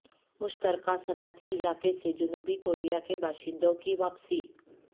مشترکہ صنعتی علاقے سے جنوبی کوریا کے باشندوں کی واپسی